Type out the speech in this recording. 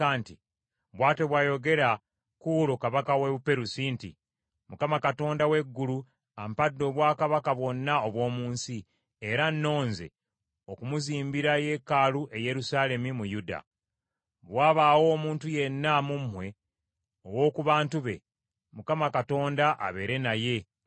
“Bw’atyo bw’ayogera Kuulo kabaka wa Buperusi nti, “‘ Mukama Katonda w’eggulu ampadde obwakabaka bwonna obw’omu nsi, era annonze okumuzimbira yeekaalu e Yerusaalemi mu Yuda. Bwe wabaawo omuntu yenna mu mmwe ow’oku bantu be, Mukama Katonda abeere naye, ayambuke.’ ”